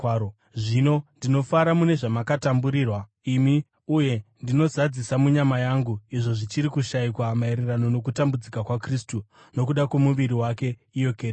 Zvino ndinofara mune zvamakatamburirwa imi, uye ndinozadzisa munyama yangu izvo zvichiri kushayikwa maererano nokutambudzika kwaKristu, nokuda kwomuviri wake, iyo kereke.